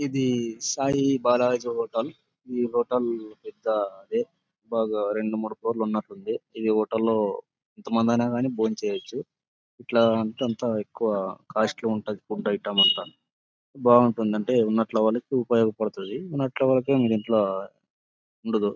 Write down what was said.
ఇది సాయి బాలాజీ హోటల్ . ఈ హోటల్ పెద్ద అదే బాగా రెండు మూడు ఫ్లోర్స్ లు ఉన్నట్టు ఉంది . ఈ హోటల్ లో ఎంత మంది అయినా గానీ బొంచేయవచ్చు. ఇట్లా అంతా ఎక్కువ కాస్ట్ లీ ఉంటాది ఫుడ్ ఐటమ్ అంతా. బావుంటుంది అంటే ఉన్నట్లు వాళ్ళకు ఉపయోగపడ్తది. ఉన్నట్లు వాళ్ళకు ఏమో దింట్ల ఉండదు.